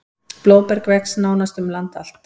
Blóðberg vex um nánast allt land.